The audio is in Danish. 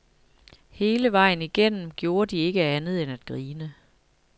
Hele vejen igennem gjorde de ikke andet end at grine.